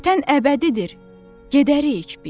Vətən əbədidir, gedərik biz.